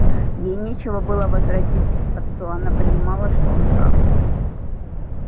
ей нечего было возразить отцу она понимала что он прав